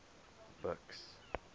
buks